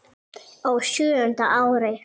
Á sjöunda ári